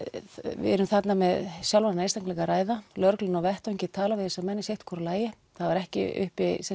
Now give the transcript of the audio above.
við erum þarna með sjálfráða einstaklinga að ræða lögreglan á vettvangi talar við þessa menn í sitthvoru lagi það var ekki uppi